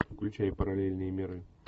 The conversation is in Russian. включай параллельные миры